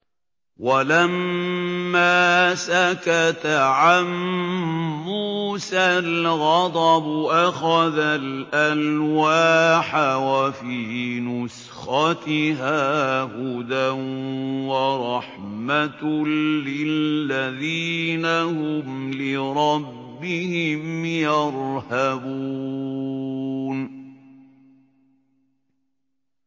وَلَمَّا سَكَتَ عَن مُّوسَى الْغَضَبُ أَخَذَ الْأَلْوَاحَ ۖ وَفِي نُسْخَتِهَا هُدًى وَرَحْمَةٌ لِّلَّذِينَ هُمْ لِرَبِّهِمْ يَرْهَبُونَ